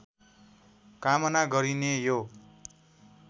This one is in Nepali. कामना गरिने यो